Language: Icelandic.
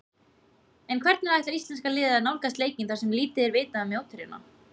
En hvernig ætlar íslenska liðið að nálgast leikinn þar sem lítið er vitað um mótherjana?